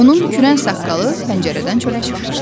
Onun kürən saqqalı pəncərədən çölə çıxmışdı.